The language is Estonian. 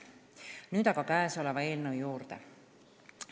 Nüüd aga tänase eelnõu juurde.